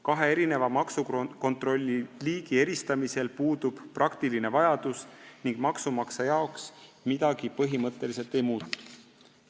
Kaheks maksukontrolli liigiks puudub praktiline vajadus ning maksumaksjale põhimõtteliselt midagi ei muutu.